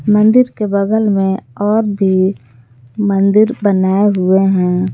मंदिर के बगल में और भी मंदिर बनाये हुए हैं।